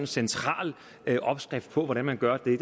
central opskrift på hvordan man gør det